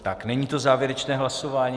Tak není to závěrečné hlasování.